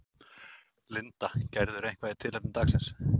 Linda: Gerirðu eitthvað í tilefni dagsins?